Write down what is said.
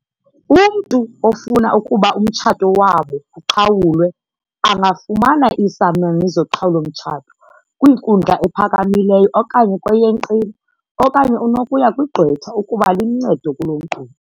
"Umntu ofuna ukuba umtshato wabo uqhawulwe angafumana iisamani zoqhawulo-mtshato kwinkundla ephakamileyo okanye kweyenqila, okanye unokuya kwigqwetha ukuba limncede kulo nkqubo."